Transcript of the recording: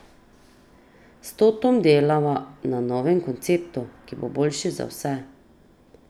S Totom delava na novem konceptu, ki bo boljši za vse.